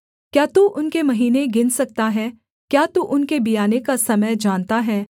क्या तू उनके महीने गिन सकता है क्या तू उनके बियाने का समय जानता है